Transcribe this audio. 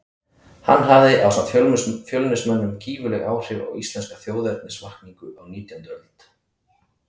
Hann hafði ásamt Fjölnismönnum gífurleg áhrif á íslenska þjóðernisvakningu á nítjándu öld.